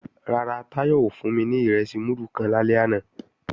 Rárá, Táyọ̀ ò fún mi ní ìrẹsì múdù kan lálẹ́ àná